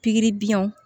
Pikiri biɲɛw